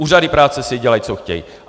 Úřady práce si dělají, co chtějí.